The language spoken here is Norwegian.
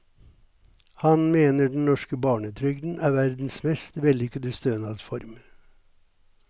Han mener den norske barnetrygden er verdens mest vellykkede stønadsform.